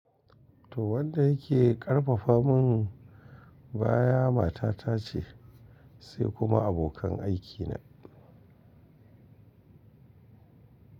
To wanda yake ƙarfafa mun baya mata ta ce, sai kuma abokan aiki na.